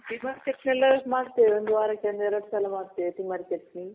ತಿಮಾರೆ ಚಟ್ನಿ ಎಲ್ಲ ಮಾಡ್ತಿವಿ. ಒಂದ್ ವಾರಕ್ ಒಂದ್ ಎರಡ್ ಸಲ ಮಾಡ್ತಿವಿ ತಿಮಾರೆ ಚಟ್ನಿ.